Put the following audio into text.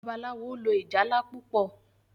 Babalawo lò ìjálá púpọ.